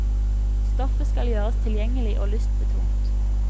Stoffet skal gjøres tilgjengelig og lystbetont.